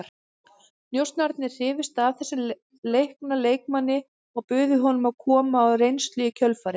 Njósnararnir hrifust af þessum leikna leikmanni og buðu honum að koma á reynslu í kjölfarið.